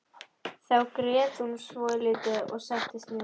Þá grét hún svolítið og settist niður.